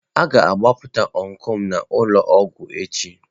A ga-agbapụta ọncụl m n'ụlọ ọgwụ echi.